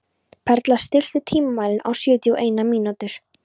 Perla, stilltu tímamælinn á sjötíu og eina mínútur.